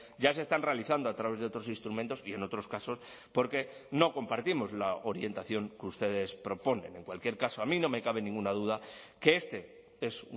ya se están realizando a través de otros instrumentos y en otros casos porque no compartimos la orientación que ustedes proponen en cualquier caso a mí no me cabe ninguna duda que este es